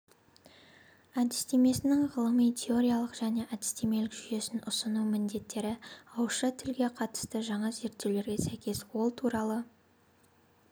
әдістемесінің ғылыми-теориялық және әдістемелік жүйесін ұсыну міндеттері ауызша тілге қатысты жаңа зерттеулерге сәйкес ол туралы